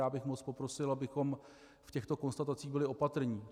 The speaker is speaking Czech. Já bych moc poprosil, abychom v těchto konstatacích byli opatrní.